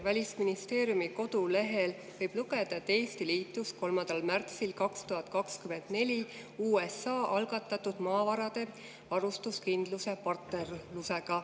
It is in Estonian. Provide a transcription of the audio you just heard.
Välisministeeriumi kodulehelt võib lugeda, et 3. märtsil 2024 liitus Eesti USA algatatud Maavarade Varustuskindluse Partnerlusega.